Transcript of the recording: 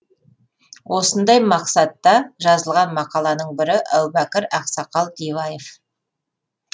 осындай мақсатта жазылған мақаланың бірі әубәкір ақсақал диваев